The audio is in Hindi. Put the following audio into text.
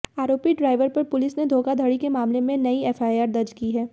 आरोपी ड्राइवर पर पुलिस ने धोखाधड़ी के मामले में नई एफआईआर दर्ज की है